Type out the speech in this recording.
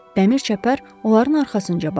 Dəmir çəpər onların arxasınca bağlandı.